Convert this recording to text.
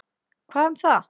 Hvað um það?